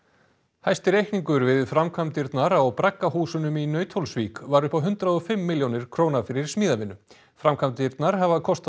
hæsti reikningur við framkvæmdirnar á Braggahúsunum í Nauthólsvík var uppá hundrað og fimm milljónir króna fyrir smíðavinnu framkvæmdirnar hafa kostað